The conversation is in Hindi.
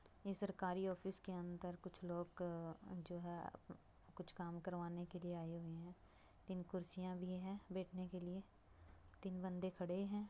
ये सरकारी ऑफिस के अंदर कुछ लोग अ जो है। कुछ काम करवाने के लिए के लिए आये हुए हैं। तीन कुर्सियां भी हैं बैठने के लिए तीन बंदे खड़े हैं।